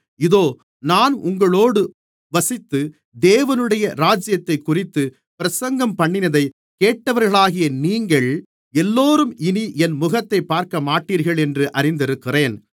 இதோ நான் உங்களோடு வசித்து தேவனுடைய ராஜ்யத்தைக்குறித்து பிரசங்கம்பண்ணினதைக் கேட்டவர்களாகிய நீங்கள் எல்லோரும் இனி என் முகத்தைப் பார்க்கமாட்டீர்கள் என்று அறிந்திருக்கிறேன்